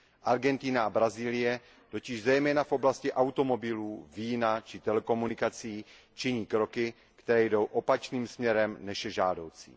Argentina a Brazílie totiž zejména v oblasti automobilů, vína či telekomunikací činí kroky, které jdou opačným směrem, než je žádoucí.